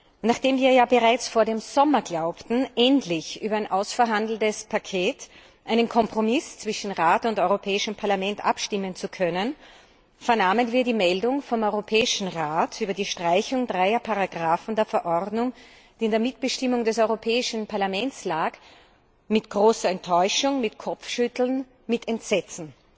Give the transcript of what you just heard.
Und nachdem wir ja bereits vor dem Sommer glaubten, endlich über einen Kompromiss über ein ausverhandeltes Paket zwischen Rat und Europäischem Parlament abstimmen zu können, vernahmen wir die Meldung vom Europäischen Rat über die Streichung dreier Artikel der Verordnung, die in der Mitbestimmung des Europäischen Parlaments lag, mit großer Enttäuschung, mit Kopfschütteln, mit Entsetzen!